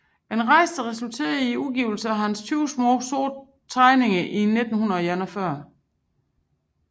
En rejse der resulterede i udgivelsen af hans 20 Smaa sorte Tegninger i 1941